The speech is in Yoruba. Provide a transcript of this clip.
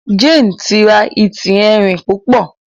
Jane tí rà Ẹti Ẹrin púpọ